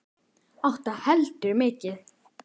Átta heldur mikið.